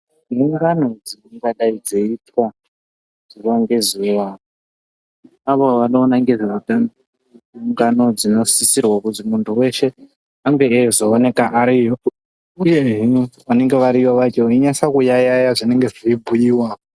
Nhungano dzingadai dzeiitwa zuva ngezuva neavo vanoona ngezveutano. Ingano dzinosisirwa kuzi muntu weshe ange eizooneka ariyo. Uyehe vanenge variyo vacho veinatsa kuyayaya zvinenge zvichibhuiwa.